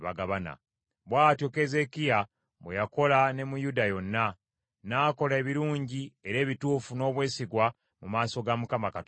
Bw’atyo Keezeekiya bwe yakola ne mu Yuda yonna, n’akola ebirungi era ebituufu n’obwesigwa mu maaso ga Mukama Katonda we.